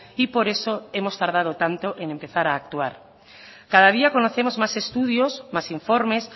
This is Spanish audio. y por eso hemos tardado tanto en empezar a actuar cada día conocemos más estudios más informes